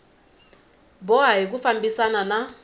boha hi ku fambisana na